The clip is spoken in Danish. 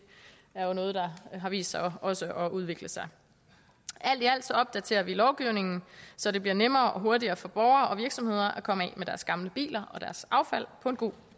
er noget der har vist sig også at udvikle sig alt i alt opdaterer vi lovgivningen så det bliver nemmere og hurtigere for borgere og virksomheder at komme af med deres gamle biler og deres affald på en god